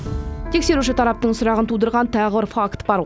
тексеруші тараптың сұрағын тудырған тағы бір факт бар